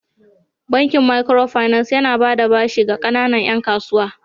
Bankin Makiro finas yana ba da bashi ga kanana 'yan kasuwa.